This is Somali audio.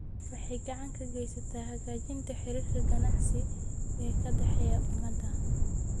Waxay gacan ka geysataa hagaajinta xiriirka ganacsi ee ka dhexeeya ummadaha.